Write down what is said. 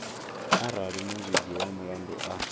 arali muvhigi wa mulandu a